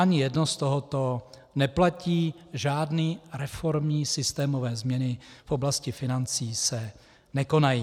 Ani jedno z tohoto neplatí, žádné reformní systémové změny v oblasti financí se nekonají.